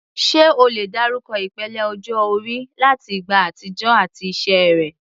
Ṣé o lè dárúkọ ìpele ọjọ́ orí láti ìgbà àtijọ́ àti iṣẹ́ rẹ̀?